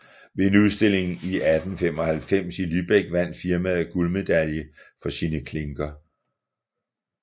Ved en udstilling i 1895 i Lübeck vandt firmaet guldmedalje for sine klinker